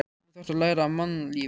Nú þarftu að læra á mannlífið.